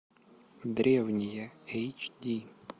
древние эйч ди